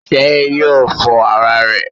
Sé yóò fọ ara rè?